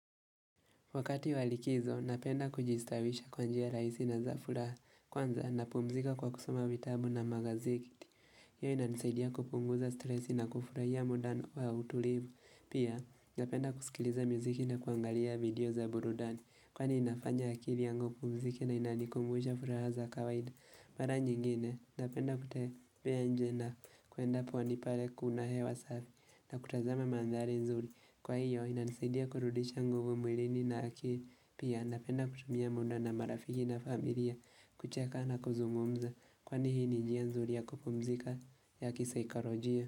Wakati wa likizo, napenda kujistawisha kwa njia rahisi na za furaha. Kwanza napumzika kwa kusoma vitabu na magazeti hiyo inanisaidia kupunguza stresi na kufurahia muda wa utulivu. Pia, napenda kusikiliza muziki na kuangalia video za burudani. Kwani inafanya akili yangu ipumzike na inanikumbusha furaha za kawaida. Mara nyingine, napenda kutembea nje na kuenda pwani pale kuna hewa safi na kutazama mandhari nzuri. Kwa hiyo inansidia kurudisha nguvu mwilini na akili. Pia napenda kutumia muda na marafiki na familia kucheka na kuzungumza. Kwani hii ni njia nzuri ya kupumzika ya kisaikalojia.